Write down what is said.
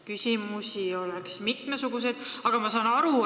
Küsimusi oleks mitmesuguseid, aga küsin järgmist.